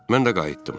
Mən də qayıtdım.